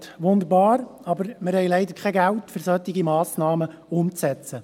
«Ja, das tönt wunderbar, aber wir haben leider kein Geld, um solche Massnahmen umzusetzen.